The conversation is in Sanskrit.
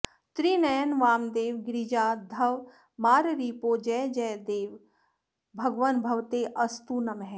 त्रिनयन वामदेव गिरिजाधव माररिपो जय जय देव देव भगवन् भवतेऽस्तु नमः